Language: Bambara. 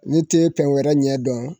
Ne te pɛn wɛrɛ ɲɛ dɔn.